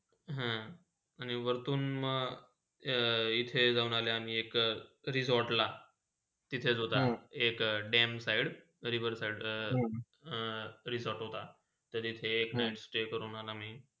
आणि व्रतून म हा इथे जाऊन आले आम्ही एक resort ला तिथेच होता Dam side तळीभर side अ resort होता आणि तर तिथे एक night stay करून आला आम्ही.